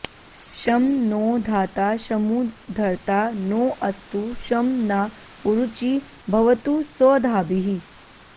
शं नो धाता शमु धर्ता नो अस्तु शं न उरूची भवतु स्वधाभिः